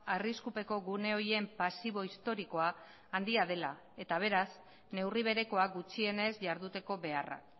arriskupeko gune horien pasibo historikoa handia dela eta beraz neurri berekoa gutxienez jarduteko beharra